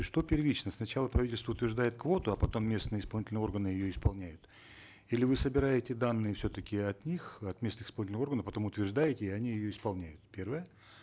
что первично сначала правительство утверждает квоту а потом местные исполнительные органы ее исполняют или вы собираете данные все таки от них от местных исполнительных органов потом утверждаете и они ее исполняют первое